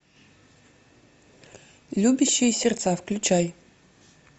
любящие сердца включай